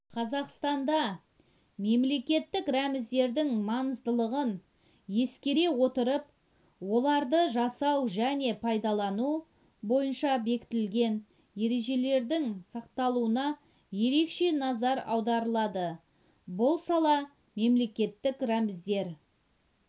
қазақстанда мемлекеттік рәміздердің маңыздылығын ескере отырып оларды жасау және пайдалану бойынша бекітілген ережелердің сақталуына ерекше назар аударылады бұл сала мемлекеттік рәміздер